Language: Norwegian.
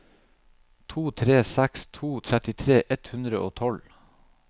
to tre seks to trettitre ett hundre og tolv